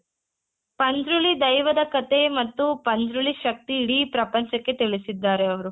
ಪಂಜ್ರುಲಿ ದೈವದ ಕಥೆ ಮತ್ತು ಪಂಜ್ರುಲಿ ಶಕ್ತಿ ಇಡೀ ಪ್ರಪಂಚಕ್ಕೆ ತಿಳಿಸಿದ್ದಾರೆ ಅವ್ರು .